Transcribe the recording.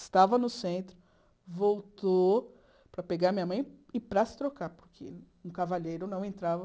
Estava no centro, voltou para pegar minha mãe e para se trocar, porque um cavaleiro não entrava.